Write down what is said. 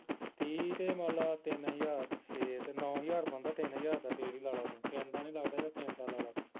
ਤੀਹ ਤੇ ਮੰਨ ਲਾ ਤਿੰਨ ਹਜਾਰ ਨੂੰ ਛੇ ਤੇ ਨੌ ਹਜਾਰ ਬਣਦਾ ਤਿੰਨ ਹਜਾਰ ਦਾ ਤੇਲ ਹੀ ਲਾ ਲਾ ਤੂੰ ਤਿੰਨ ਦਾ ਨੀ ਲੱਗਦਾ ਚੱਲ ਤਿੰਨ ਦਾ ਲਾ ਲਾ ਤੂੰ